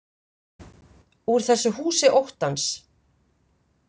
Úr þessu húsi óttans.